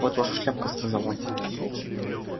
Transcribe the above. вот ваша шляпка сказал он